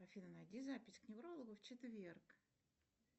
афина найди запись к неврологу в четверг